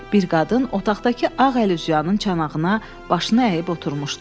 Bir qadın otaqdakı ağ əlüzyanın çanağına başını əyib oturmuşdu.